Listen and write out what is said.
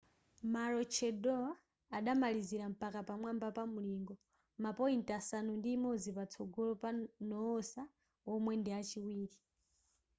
maroochydore adamalizira mpaka pamwamba pa mulingo ma point asanu ndi imodzi patsogolo pa noosa womwe ndi achiwiri